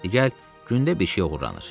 Niyə gəl gündə bir şey oğurlanır?